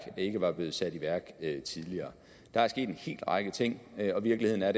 ikke er blevet sat i værk tidligere der er sket en hel række ting og virkeligheden er